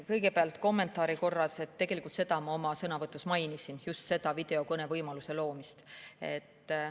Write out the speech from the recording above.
Kõigepealt kommentaari korras: tegelikult ma seda oma sõnavõtus mainisin, just seda videokõnevõimaluse loomist.